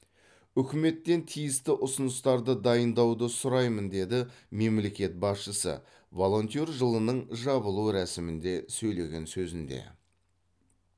үкіметтен тиісті ұсыныстарды дайындауды сұраймын деді мемлекет басшысы волонтер жылының жабылу рәсімінде сөйлеген сөзінде